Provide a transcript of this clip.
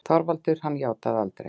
ÞORVALDUR: Hann játaði aldrei.